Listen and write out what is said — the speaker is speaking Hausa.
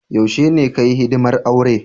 Yaushe ne ka Yi hidimar aure?